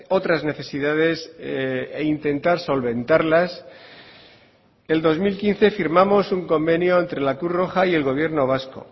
otras necesidades e intentar solventarlas el dos mil quince firmamos un convenio entre la cruz roja y el gobierno vasco